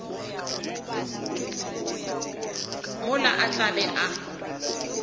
mola a tla be a